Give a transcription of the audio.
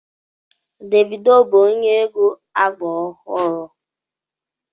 Davidoo bú onye egwu ágbá ọhụrụ